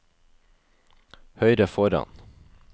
høyre foran